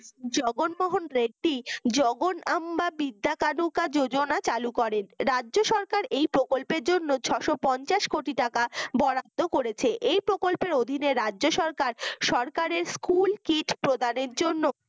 জগন মোহন রেড্ডী জগন আম্বা বিদ্যা কানুকা যোজনা চালু করেন রাজ্য সরকার এই প্রকল্পের জন্য ছয়শ পঞ্চাশ কোটি টাকা বরাদ্দ করেছে এই প্রকল্পের অধিনে রাজ্য সরকার সরকারি school kit প্রদানের জন্য